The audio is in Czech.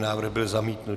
Návrh byl zamítnut.